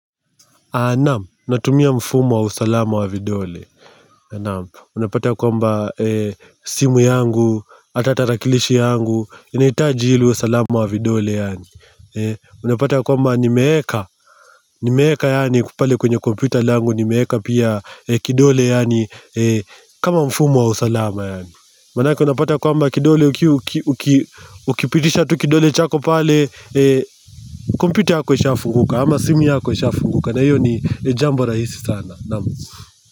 Anam, natumia mfumo wa usalama wa vidole nam, unapata kwamba simu yangu, ata tarakilishi yangu Inaitaji ili uwe salama wa vidole yani Unapata kwamba nimeeka, nimeeka yani kupale kwenye kompyuta langu nimeeka pia kidole yani kama mfumo wa usalama yani Manake unapata kwamba kidole, uki uki ukipitisha tu kidole chako pale kompyuta yako ishafunguka, ama simu yako ishafunguka na hio ni ni jambo rahisi sana Nam.